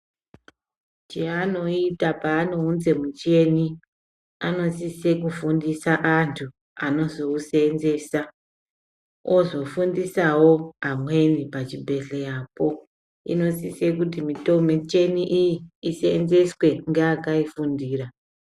Chanoita panounza muchini anosisa kufundisa antu anozousenzesa ozofundisawo amweni pachibhedhlera inosisa kuti michini iyiiswnzeswe ngeakai fundira.